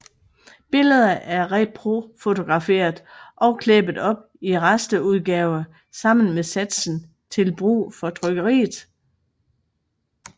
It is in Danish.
Billeder blev reprofotograferet og klæbet op i rasterudgave sammen med satsen til brug for trykkeriet